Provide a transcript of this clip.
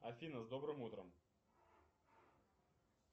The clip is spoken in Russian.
афина с добрым утром